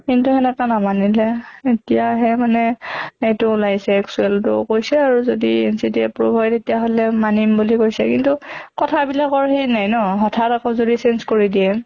কিন্তু সেনেকা নামানিলে। এতিয়া হে মানে এইটো ওলাইছে actual টো কৈছে আৰু যদি approved হয় তেতিয়া হʼলে মানিব বুলি কৈছে। কিন্তু কথা বিলাকৰ সেই নাই ন, হথাৎ আকৌ যদি change কৰি দিয়ে